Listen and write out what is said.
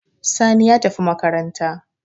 Sani ya tafi makaranta